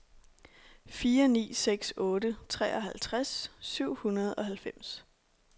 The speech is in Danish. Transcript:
fire ni seks otte treoghalvtreds syv hundrede og halvfems